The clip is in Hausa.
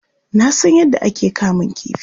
Na san yadda ake kamun kifi.